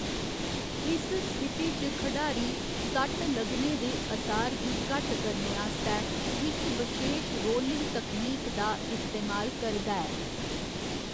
इस स्थिति च, खढारी सट्ट लगने दे असार गी घट्ट करने आस्तै इक बशेश रोलिंग तकनीक दा इस्तेमाल करदा ऐ।